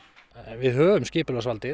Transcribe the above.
við höfum skipulagsvaldið